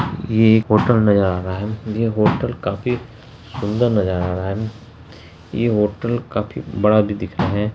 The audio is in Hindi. ई एक होटल नज़र आ रहा है ये होटल काफी सुंदर नज़र आ रहा है ये होटल काफी बड़ा भी दिख रहा है।